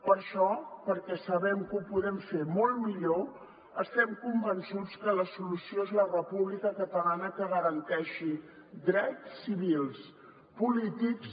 per això perquè sabem que ho podem fer molt millor estem convençuts que la solució és la república catalana que garanteixi drets civils polítics